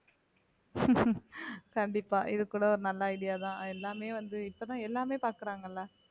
கண்டிப்பா இது கூட ஒரு நல்ல idea தான் எல்லாமே வந்து இப்பதான் எல்லாமே பாக்குறாங்கல்ல